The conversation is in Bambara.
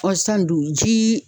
Ɔ sisan dun jii